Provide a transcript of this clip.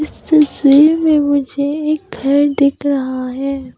तस्वीर में मुझे एक घर दिख रहा है।